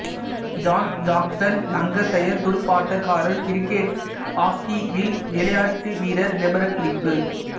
John Jackson Lancashire துடுப்பாட்டக்காரர் cricket ஆக்கைவில் விளையாட்டுவீரர் விபரக்குறிப்பு